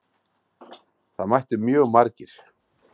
Það mættu mjög margir.